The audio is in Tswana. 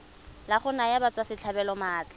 la go naya batswasetlhabelo maatla